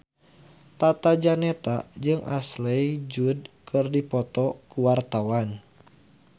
Tata Janeta jeung Ashley Judd keur dipoto ku wartawan